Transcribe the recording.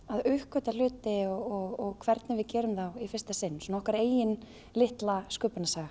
að uppgötva hluti og hvernig við gerum þá í fyrsta sinn okkar eigin litla sköpunarsaga